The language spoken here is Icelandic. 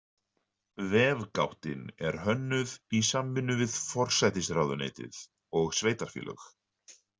Vefgáttin er hönnuð í samvinnu við forsætisráðuneytið og sveitarfélög.